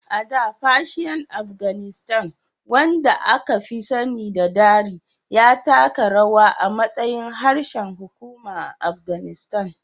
A da, Persian Afganistan, wanda aka fi sani da Dari, ya taka rawa a matsayin harshen hukuma a Afghanistan.